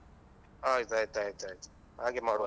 ಆಯ್ತಯ್ತಾಯ್ತಾಯ್ತು ಹಾಗೆ ಮಾಡುವ.